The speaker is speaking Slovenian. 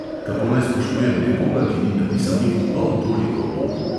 Kako naj spoštujem nekoga, ki ni napisal niti pol toliko od?